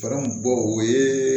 bɔ o ye